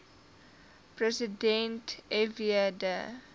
president fw de